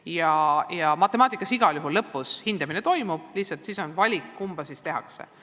Igal juhul matemaatikas põhikooli lõpus hindamine toimub, lihtsalt tuleb valida, kummal viisil seda tehakse.